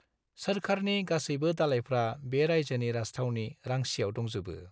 सोरखारनि गासैबो दालाइफ्रा बे रायजोनि राजथावनि रांचीआव दंजोबो।